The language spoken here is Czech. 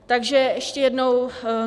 Takže ještě jednou.